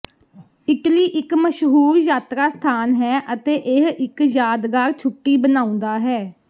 Italy ਇੱਕ ਮਸ਼ਹੂਰ ਯਾਤਰਾ ਸਥਾਨ ਹੈ ਅਤੇ ਇਹ ਇੱਕ ਯਾਦਗਾਰ ਛੁੱਟੀ ਬਣਾਉਂਦਾ ਹੈ